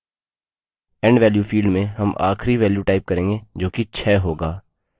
end value field में हम आखिरी value type करेंगे जो कि 6 होगा